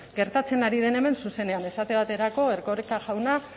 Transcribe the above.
gertatzen ari den hemen zuzenean esate baterako erkoreka jauna